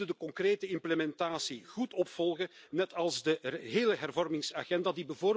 We moeten de concrete implementatie goed opvolgen, net als de hele hervormingsagenda.